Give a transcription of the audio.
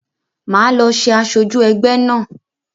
Máa lọ ṣe asoju ẹgbẹ́ náà